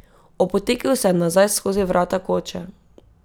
Opotekel se je nazaj skozi vrata koče.